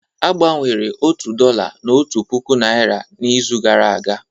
A gbanwere otu dollar na otu puku naira n'izu gara aga